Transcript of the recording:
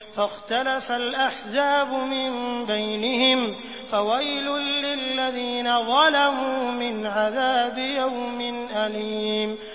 فَاخْتَلَفَ الْأَحْزَابُ مِن بَيْنِهِمْ ۖ فَوَيْلٌ لِّلَّذِينَ ظَلَمُوا مِنْ عَذَابِ يَوْمٍ أَلِيمٍ